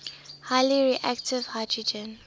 highly reactive hydrogen